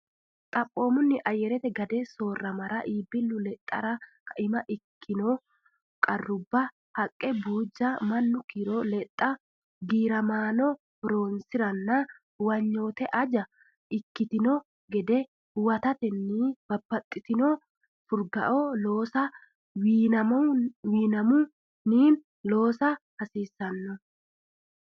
Xaphoomunni ayyarete gade soorramara iibbillu lexxara kaima ikkitino qarrubba haqqe buujja mannu kiiro lexxa giiramaano horonsi ranna huwanyote anje ikkitino gede huwatatenni babbaxxitino furgaote loossa wiinamunni loosa hasiissanno.